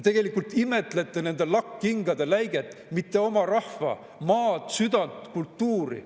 Te imetlete nende lakk-kingade läiget, mitte oma rahva maad, südant, kultuuri.